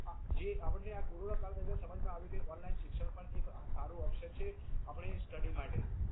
જે આપણને આ કોરોના કાલ દરમિયાન સમજ માં આવ્યું કે online શિક્ષણ પણ એક સારું option છે આપણે study માટે